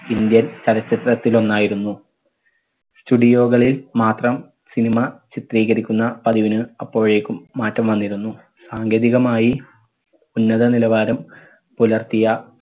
indian ചലച്ചിത്രത്തിൽ ഒന്നായിരുന്നു. studio കളിൽ മാത്രം cinema ചിത്രീകരിക്കുന്ന പതിവിന് അപ്പോഴേക്കും മാറ്റം വന്നിരുന്നു. സാങ്കേതികമായി ഉന്നത നിലവാരം പുലർത്തിയ